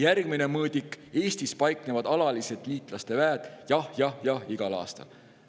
Järgmine mõõdik: "Eestis paiknevad alaliselt liitlaste väed" – "Jah" igal aastal.